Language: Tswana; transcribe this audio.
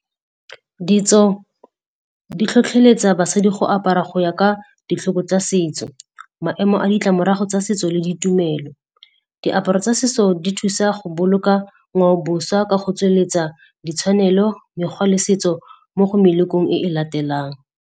Ditso di tlhotlheletsa basadi go apara go ya ka ditlhoko tsa setso, maemo a ditlamorago tsa setso le ditumelo. Diaparo tsa setso di thusa go boloka ngwao-boša ka go tsweletsa ditshwanelo, mekgwa le setso mo go melekong e e latelang.